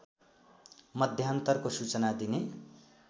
मध्यान्तरको सूचना दिने